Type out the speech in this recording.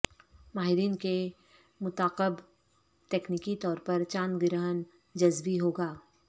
ماہرین کے مطاقب تکنیکی طور پر چاند گرہن جزوی ہوگا